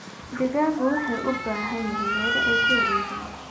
Digaagga waxay u baahan yihiin meelo ay ku wareegaan.